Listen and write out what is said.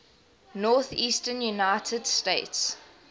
northeastern united states